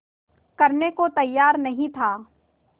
करने को तैयार नहीं था